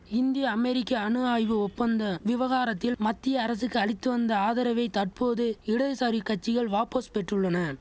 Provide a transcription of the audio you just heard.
இந்திய அமெரிக்க அணு ஆய்வு ஒப்பந்த விவகாரத்தில் மத்திய அரசுக்கு அளித்து வந்த ஆதரவை தற்போது இடதுசாரி கட்சிகள் வாபஸ் பெற்றுள்ளன